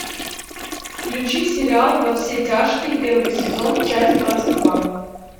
включи сериал во все тяжкие первый сезон часть двадцать два